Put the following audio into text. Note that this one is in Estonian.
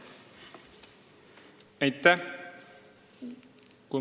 Aitäh!